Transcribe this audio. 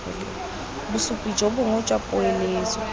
bosupi jo bonnye jwa poeletso